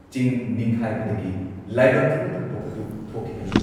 ꯆꯤꯡ ꯅꯤꯡꯈꯥꯏꯕꯗꯒꯤ ꯂꯥꯏꯕꯛ ꯊꯤꯕ ꯊꯧꯗꯣꯛ ꯑꯗꯨ ꯊꯣꯛꯈꯤꯕꯅꯤ ꯫